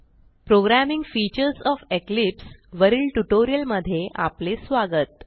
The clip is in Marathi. प्रोग्रॅमिंग फीचर्स ओएफ इक्लिप्स वरील ट्युटोरिलयमधे आपले स्वागत